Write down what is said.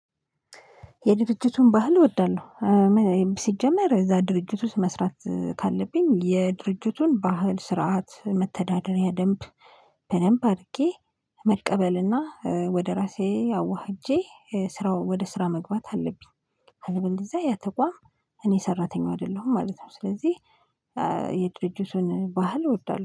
የድርጅቱን ባህል እወዳለሁ። ሲጀመር እዛ ድርጅት ውስጥ መስራት ካለብኝ የድርጅቱን ባህል፣ ስርዓት፣ መተዳደሪያ ደንብ በደንብ አድርጌ መቀበልና ወደ ራሴ አዋህጄ ስራው ወደ ስራ መግባት አለብኝ። አለበልዚያ ያተቋም እኔ ሰራተኛው አይደለሁም ማለት ነው። ስለዚህ የድርጅቱን ባህል እወዳለሁ